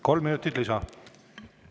Kolm minutit lisa.